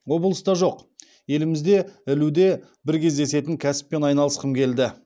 облыста жоқ елімізде ілуде бір кездесетін кәсіппен айналысқым келді